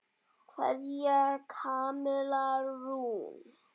Kveðja, Kamilla Rún.